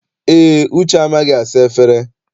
Eé, Uche amaghị asa efere.